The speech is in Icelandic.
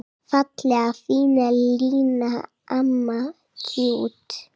Fallega fína Lína, amma tjútt.